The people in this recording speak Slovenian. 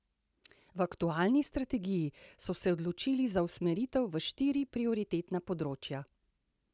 V aktualni strategiji so se odločili za usmeritev v štiri prioritetna področja.